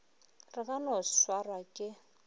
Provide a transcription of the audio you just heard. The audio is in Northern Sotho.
re ka no swarwa ke